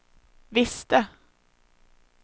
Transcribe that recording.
visste